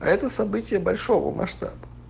а это событие большого масштаба